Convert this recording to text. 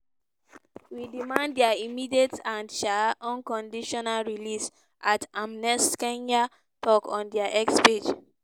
we demand dia immediate and um unconditional release" @amnestykenya tok on dia x page.